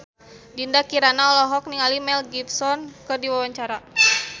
Dinda Kirana olohok ningali Mel Gibson keur diwawancara